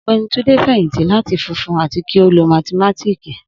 Ogbeni Tunde ti feyinti lati funfun ati ki o loo mathimatiki